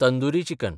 tandoori chicken